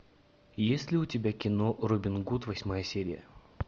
есть ли у тебя кино робин гуд восьмая серия